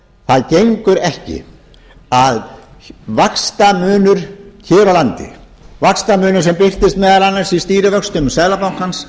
það gengur ekki að vaxtamunur hér á landi vaxtamunur sem birtist meðal annars í stýrivöxtum seðlabankans